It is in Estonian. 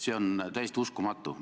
See on täiesti uskumatu.